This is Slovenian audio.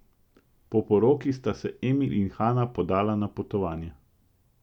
Po poroki sta se Emil in Hana podala na potovanje.